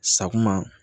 Sakuma